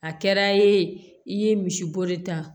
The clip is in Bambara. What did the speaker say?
A kɛra yen i ye misibori ta